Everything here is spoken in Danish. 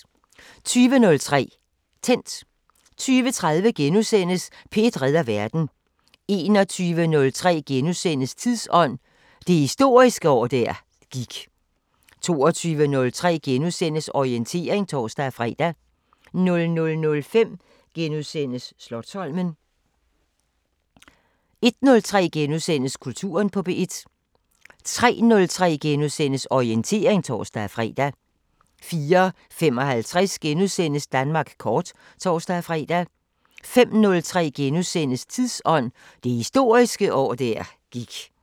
20:03: Tændt 20:30: P1 redder verden * 21:03: Tidsånd: Det historiske år der gik * 22:03: Orientering *(tor-fre) 00:05: Slotsholmen * 01:03: Kulturen på P1 * 03:03: Orientering *(tor-fre) 04:55: Danmark kort *(tor-fre) 05:03: Tidsånd: Det historiske år der gik *